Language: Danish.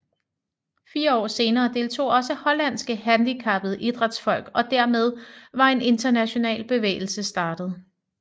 Fire år senere deltog også hollandske handicappede idrætsfolk og dermed var en international bevægelse startet